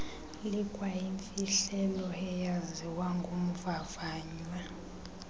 likwayimfihlelo eyaziwa ngumvavanywa